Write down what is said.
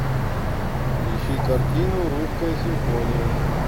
ищи картину русская симфония